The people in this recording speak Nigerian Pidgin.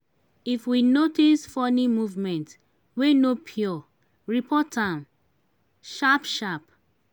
if we notice funny movement wey no pure report am sharp sharp.